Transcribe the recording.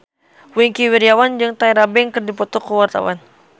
Wingky Wiryawan jeung Tyra Banks keur dipoto ku wartawan